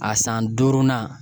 A san duurunan